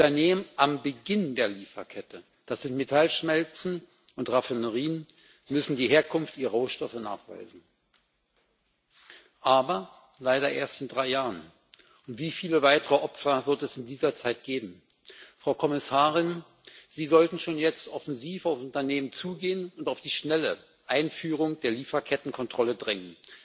Unternehmen am Beginn der Lieferkette das sind Metallschmelzen und Raffinerien müssen die Herkunft ihrer Rohstoffe nachweisen. Aber leider erst in drei Jahren! Wie viele weitere Opfer wird es in dieser Zeit geben? Frau Kommissarin, Sie sollten schon jetzt offensiv auf Unternehmen zugehen und auf die schnelle Einführung der Lieferkettenkontrolle drängen.